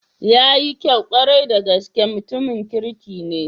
Yayi kyau kwarai da gaske, mutanen kirki ne.